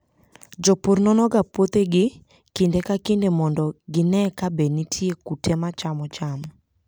Jopur nonoga puothegi kinde ka kinde mondo gine kabe nitie kute machamo cham.